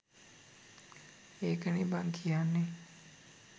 ඒකනේ බං කියන්නේ